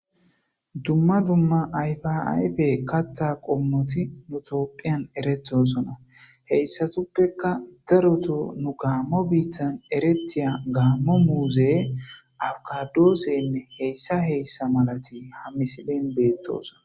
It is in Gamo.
dumma dumma ayfa ayfe katha qommoti toopphiyan erethosona heyssatuppekka daroto nu gaammo biitan eretiya gaammo muuze awkadoosenne heyssa heyssa malati hammisilen beettosona